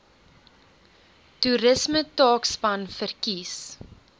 toerisme taakspan verkies